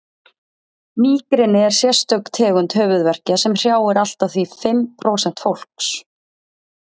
mígreni er sérstök tegund höfuðverkja sem hrjáir allt að því fimm prósent fólks